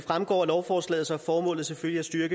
næste er